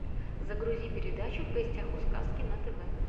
загрузи передачу в гостях у сказки на тв